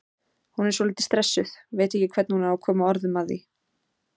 Hún er svolítið stressuð, veit ekki hvernig hún á að koma orðum að því.